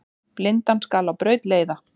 Blindan skal á braut leiða.